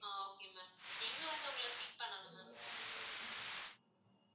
ஆஹ் okay ma'am எங்க வந்து உங்களை pick பண்ணணும் ma'am